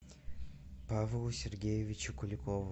павлу сергеевичу куликову